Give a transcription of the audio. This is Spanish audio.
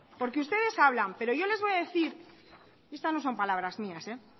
porque ustedes hablan yo les voy a decir no son palabras mías